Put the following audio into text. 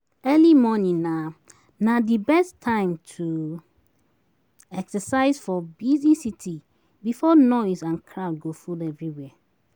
Early morning na na di best time to exercise for busy city before noise and crowd go full everwhere